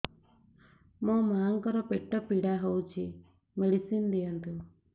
ମୋ ମାଆଙ୍କର ପେଟ ପୀଡା ହଉଛି ମେଡିସିନ ଦିଅନ୍ତୁ